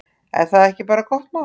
Er það ekki bara gott mál?